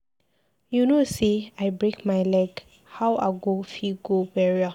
You know say I break my leg, how I go fit go the burial